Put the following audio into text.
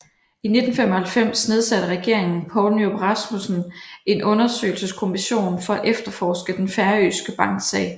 I 1995 nedsatte regeringen Poul Nyrup Rasmussen en undersøgelseskommission for at efterforske den færøske banksag